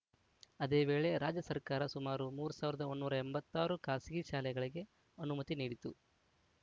ಅದೇ ವೇಳೆ ರಾಜ್ಯ ಸರ್ಕಾರ ಸುಮಾರು ಮೂರು ಸಾವಿರದ ನೂರ ಎಂಬತ್ತ್ ಆರು ಖಾಸಗಿ ಶಾಲೆಗಳಿಗೆ ಅನುಮತಿ ನೀಡಿತ್ತು